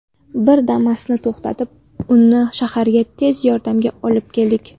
Bir Damas’ni to‘xtatib, uni shaharga, ‘tez yordam’ga olib keldik.